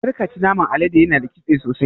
Karka ci naman alade yana da ƙitse sosai.